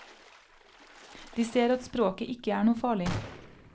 De ser at språket ikke er noe farlig.